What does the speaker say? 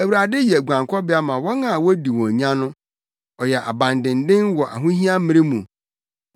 Awurade yɛ guankɔbea ma wɔn a wodi wɔn nya no, ɔyɛ abandennen wɔ ahohia mmere mu.